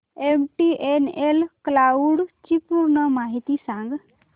MTNL cloud ची पूर्ण माहिती सांग